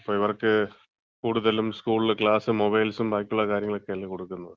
ഇപ്പം ഇവർക്ക് കൂടുതലും സ്കൂളില് ക്ലാസും മൊബൈൽസും ബാക്കിയുള്ള കാര്യങ്ങളുക്കെയല്ലേ കൊടുക്കുന്നത്.